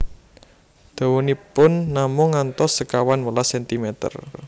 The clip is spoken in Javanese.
Dawanipun namung ngantos sekawan welas sentimer